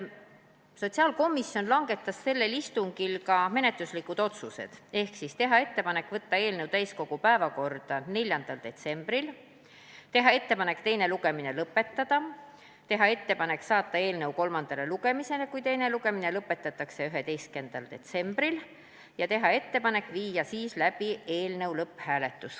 Sotsiaalkomisjon langetas sellel istungil ka menetluslikud otsused: teha ettepanek võtta eelnõu täiskogu päevakorda 4. detsembril; teha ettepanek teine lugemine lõpetada; kui teine lugemine lõpetatakse, siis teha ettepanek saata eelnõu 11. detsembril kolmandale lugemisele ja viia läbi eelnõu lõpphääletus.